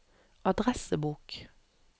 adressebok